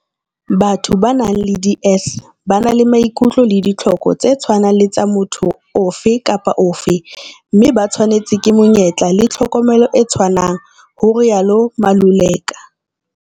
Batho ba nang le DS ba na le maikutlo le ditlhoko tse tshwanang le tsa motho ofe kapa ofe. Mme ba tshwanetswe ke menyetla le tlhokomelo e tshwanang, ho rialo Maluleka.